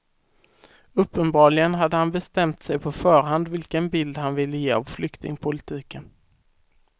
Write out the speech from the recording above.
Uppenbarligen hade han bestämt sig på förhand vilken bild han ville ge av flyktingpolitiken.